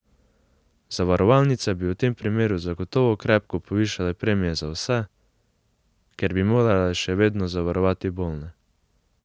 Zavarovalnice bi v tem primeru zagotovo krepko povišale premije za vse, ker bi morale še vedno zavarovati bolne.